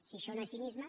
si això no és cinisme